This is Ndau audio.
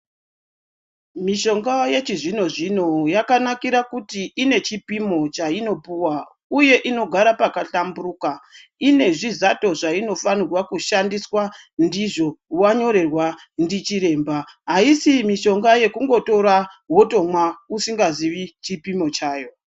Mishonga yechizvino-zvino yakanakire kuti inechipimo chainopuwa uye inogara pakahlamburuka, inezvizato zveinofanirwa kushandiswa ndizvo, wanyorerwa ndichiremba. Haisi mishonga yekungotora womwa, usingaziyi chipimo chayo.